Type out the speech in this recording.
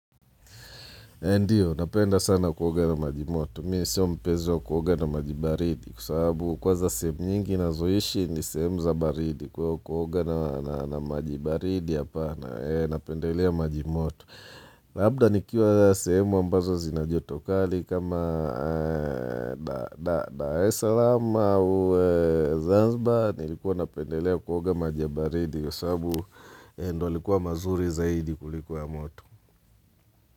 Ndiyo, napenda sana kuoga na maji moto. Mimi siyo mpenzi wa kuoga na maji baridi kwa sababu kwanza sehemu nyingi ninazoishi ni sehemu za baridi kwa hiyo kuoga na na na maji baridi hapana napendelea maji moto. Labda nikiwa semu ambazo zina joto kali kama Dar es Salam au Zanzibar nilikuwa napendelea kuoga maji ya baridi kwa sababu ndiyo yalikuwa mazuri zaidi kuliko ya moto.